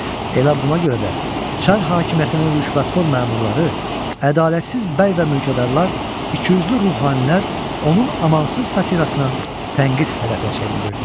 Elə buna görə də, Çar hakimiyyətinin rüşvətxor məmurları, ədalətsiz bəy və mülkədarlar, ikiyüzlü ruhanilər onun amansız satirasının tənqid hədəfinə çevrilirdilər.